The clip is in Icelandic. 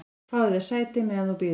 """Fáðu þér sæti, meðan þú bíður"""